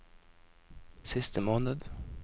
siste måned